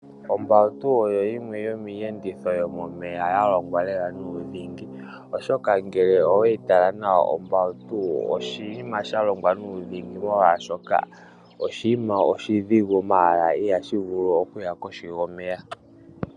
Ombawutu oyo yimwe yomiiyenditho yomomeya ya longwa lela nuudhingi, oshoka ngele oweyi tala nawa ombawutu oshinima sha longwa nuudhingi molwaashoka oshinima oshidhigu ndele ihashi vulu okuya kohi yomeya.